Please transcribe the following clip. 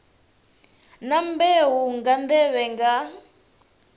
na mbeu nga nḓevhe nga